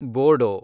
Bodo